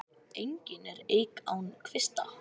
Engin er eik án kvista.